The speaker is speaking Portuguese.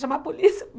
Chamar a polícia?